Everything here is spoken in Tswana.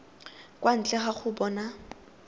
kwa ntle ga go bona